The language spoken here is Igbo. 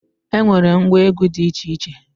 E nwere ngwa egwu dị iche iche